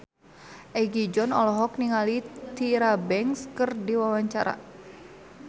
Egi John olohok ningali Tyra Banks keur diwawancara